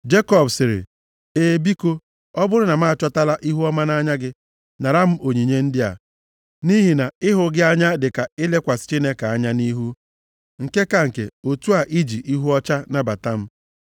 Jekọb sịrị, “E, biko, ọ bụrụ na m achọtala ihuọma nʼanya gị, nara m onyinye ndị a. Nʼihi na ịhụ gị anya dịka ilekwasị Chineke anya nʼihu, nke ka nke, otu a i ji ihu ọcha nabata m.